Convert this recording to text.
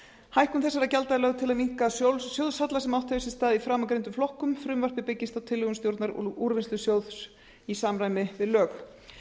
hækkun þessara gjalda er lögð til að minnka sjóðshalla sem átt hefur sér stað í framangreindum flokkum frumvarpið byggist á tillögum stjórnar úrvinnslusjóðs í samræmi við lög